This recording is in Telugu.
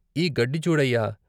ఈ గడ్డి చూడయ్యా!